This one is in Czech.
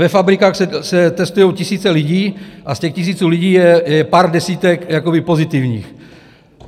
Ve fabrikách se testují tisíce lidí a z těch tisíců lidí je pár desítek pozitivních.